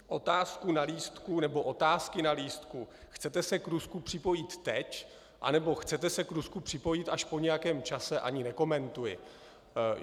Otázku na lístku nebo otázky na lístku "Chcete se k Rusku připojit teď, anebo chcete se k Rusku připojit až po nějakém čase?" ani nekomentuji.